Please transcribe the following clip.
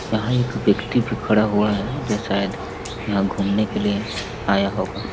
यहाँ एक व्यक्ति भी खड़ा हुआ है जो शायद यहाँ घूमने के लिए आया होगा।